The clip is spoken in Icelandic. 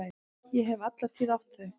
Ég hef alla tíð átt þau.